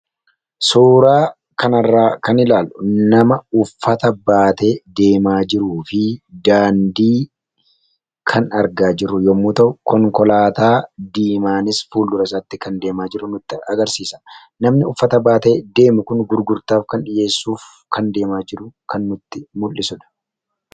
Suuraa kana irraa kan ilaallu, nama uffata baatee deemaa jiruu fi daandii kan argaa jiru yemmuu ta'u, konkolaataa diimaanis fuldura isaatii deemaa kan jiru nutti agarsiisa. Namni uffata baatee deemu Kun gurgurtaa yookiin dhiheessuu kan deemaa jiru nutti agarsiisudha.